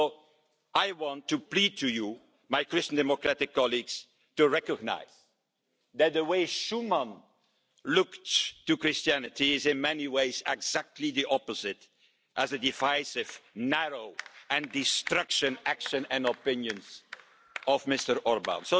So I want to plead to you, my Christian Democratic colleagues, to recognise that the way Schuman looked at Christianity is in many ways exactly the opposite to the divisive, narrow and destructive actions and opinions of Mr Orbán.